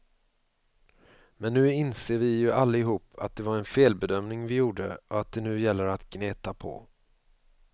Men nu inser vi ju allihop att det var en felbedömning vi gjorde och att det nu gäller att gneta på.